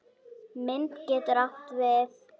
Mynd getur átt við